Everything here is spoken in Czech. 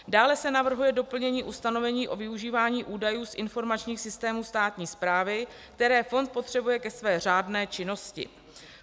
Dále se navrhuje doplnění ustanovení o využívání údajů z informačních systémů státní správy, které fond potřebuje ke své řádné činnosti.